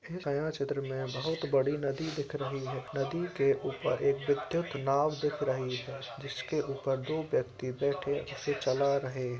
काया क्षेत्र मे बहुत बड़ी नदी दिख रही है| नदी के ऊपर एक विद्युत् नाव दिख रही है| जिसके ऊपर दो व्यक्ति बैठे उसे चला रहे |